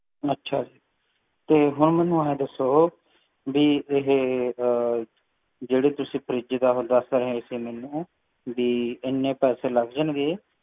ਅੱਛਾ ਤੇ ਹੁਣ ਮੈਨੂੰ ਐਨ ਦੱਸੋ ਕਿ ਜਿਹੜੇ ਤੁਸੀਂ ਮੈਨੂੰ fridge ਦੱਸ ਰਹੇ ਸੀ ਬ ਏਨੇ ਪੈਸੇ ਲੱਗ ਜਾਣਗੇ